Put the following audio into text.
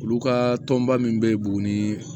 Olu ka tɔnba min bɛ boo ni